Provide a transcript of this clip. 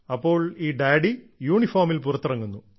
അപ്പോൾ ഈ ഡാഡി യൂണിഫോമിൽ പുറത്തിറങ്ങുന്നു